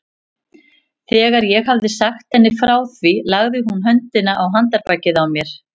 Þegar ég hafði sagt henni frá þér lagði hún höndina á handarbakið á mér.